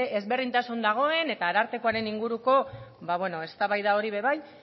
ezberdintasun dagoen eta arartekoaren inguruko eztabaida hori ere bai